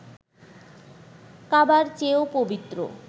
কাবার চেয়েও পবিত্র